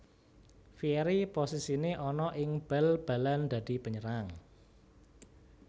Vieri posisine ana ing bal balan dadi penyerang